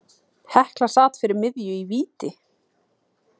Hekla sat fyrir miðju í víti.